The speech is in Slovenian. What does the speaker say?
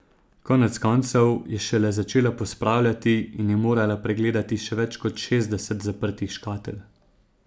Konec koncev je šele začela pospravljati in je morala pregledati še več kot šestdeset zaprtih škatel.